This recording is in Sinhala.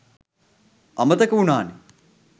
අමතක වුනානෙ